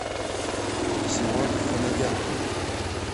севак ханагян